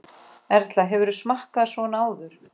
Erla: Hefurðu smakkað svona áður?